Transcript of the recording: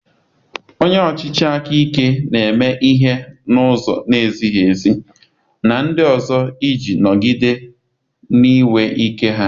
Onye ọchịchị aka ike na-eme ihe n'ụzọ na-ezighị ezi na ndị ọzọ iji nọgide na-enwe ike ha